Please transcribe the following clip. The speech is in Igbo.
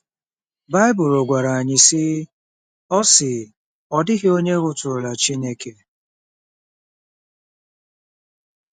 Baịbụl gwara anyị, sị: “Ọ sị: “Ọ dịghị onye hụtụrụla Chineke.